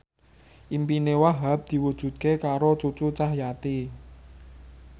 impine Wahhab diwujudke karo Cucu Cahyati